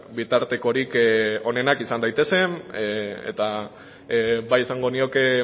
bitartekorik onenak izan daitezen eta bai esango nioke